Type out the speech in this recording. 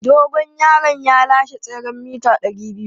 Dogon yaron ya lashe tseren mita 200.